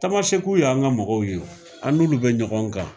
Tamaseku y'an ka mɔgɔw ye an n'olu bɛ ɲɔgɔn kan